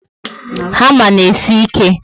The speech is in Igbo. Hama na esi ike